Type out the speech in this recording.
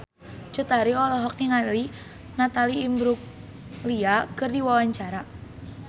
Cut Tari olohok ningali Natalie Imbruglia keur diwawancara